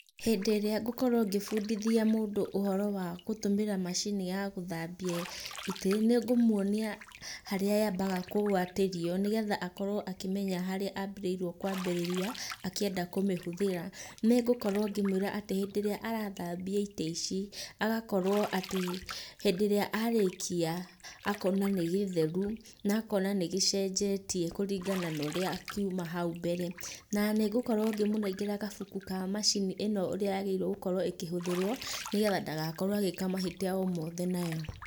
Hĩndĩ ĩrĩa ngũkorwo ngĩbundithia mũndũ ũhoro wa gũtũmĩra macini ya gũthambia itĩ, nĩngũmuonia harĩa yambaga kũgwatĩrio, nĩgetha akorwo akĩmenya harĩa agĩrĩirwo kwambĩrĩria akĩenda kũmĩhũthĩra. Nĩngũkorwo ngĩmwĩra atĩ hĩndĩ ĩrĩa arathambia itĩ ici, agakorwo atĩ hĩndĩ ĩrĩa arĩkia akona nĩgĩtheru na akona nĩgĩcenjetie kũringana na ũrĩa kiuma hau mbere. Na nĩngũkorwo ngĩmũnengera gabuku ka macini ĩno ũrĩa yagĩrĩirwo gũkorwo ĩkĩhũthĩrwo, nĩgetha ndagakorwo agĩka mahĩtia o mothe nayo.